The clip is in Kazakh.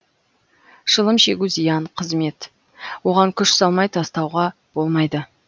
шылым шегу зиян қызмет оған күш салмай тастауға болмайды